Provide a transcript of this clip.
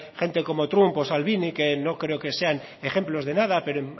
gente como trump o salvini que no creo que sean ejemplos de nada pero